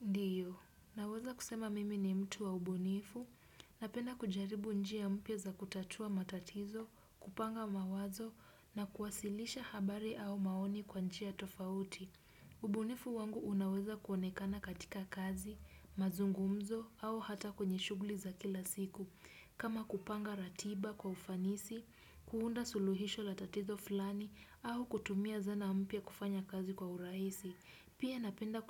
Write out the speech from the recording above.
Ndiyo, naweza kusema mimi ni mtu wa ubunifu. yNapenda kujaribu njia mpia za kutatua matatizo, kupanga mawazo na kuwasilisha habari au maoni kwa njia tofauti. Ubunifu wangu unaweza kuonekana katika kazi, mazungumzo au hata kwenye shughuli za kila siku. Kama kupanga ratiba kwa ufanisi, kuunda suluhisho la tatizo fulani au kutumia zana mpya kufanya kazi kwa urahisi. Pia napenda